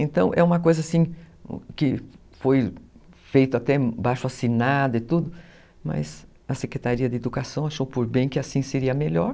Então, é uma coisa assim, que foi feito até baixo assinado e tudo, mas a Secretaria de Educação achou por bem que assim seria melhor.